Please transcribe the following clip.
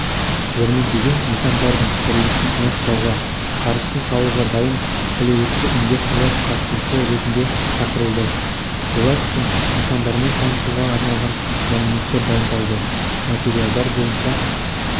жәрмеңкеге нысандардың құрылысын аяқтауға қаржысын салуға дайын әлеуетті инвесторлар қатысушы ретінде шақырылды олар үшін нысандармен танысуға арналған мәліметтер дайындалды материалдар бойынша